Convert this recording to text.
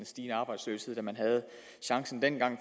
stigende arbejdsløshed da man havde chancen dengang